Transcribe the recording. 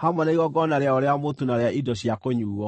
hamwe na igongona rĩayo rĩa mũtu na rĩa indo cia kũnyuuo.